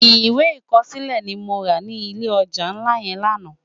Iwé ikòsilé ni mó rá ni ilé òjá nlá yèn làná